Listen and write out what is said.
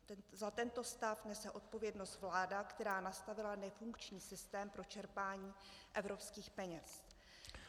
Za tento stav nese odpovědnost vláda, která nastavila nefunkční systém pro čerpání evropských peněz.